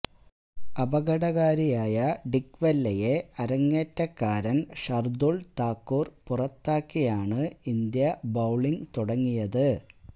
അപകടകാരിയായ ഡിക് വെല്ലയെ അരങ്ങേറ്റക്കാരൻ ഷാർദുൾ താക്കൂർ പുറത്താക്കിയാണ് ഇന്ത്യ ബൌളിംഗ് തുടങ്ങിയത്